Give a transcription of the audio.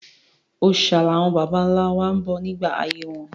Òòṣà làwọn bàbá-ńlá wa bọ nígbà ayé wọn.